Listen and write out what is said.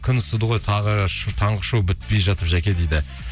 күн ысыды ғой таңғы шоу бітпей жатып жаке дейді